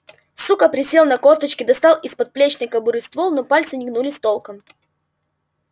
сука присел на корточки достал из подплечной кобуры ствол но пальцы не гнулись толком